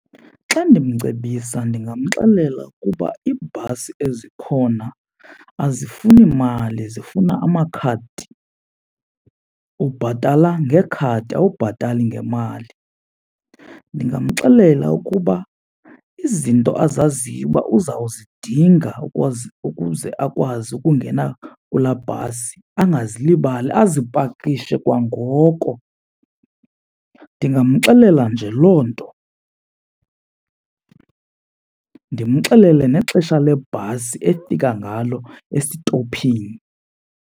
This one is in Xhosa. Xa ndimcebisa ndingamxelela ukuba iibhasi ezikhona azifuni mali zifuna amakhadi, ubhatala ngekhadi awubhatali ngemali. Ndingamxelela ukuba izinto azaziyo uba uzawuzidinga ukuze akwazi ukungena kulaa bhasi angazilibali azipakishe kwangoko. Ndingamxelela nje loo nto, ndimxelele nexesha lebhasi efika ngalo esitophini.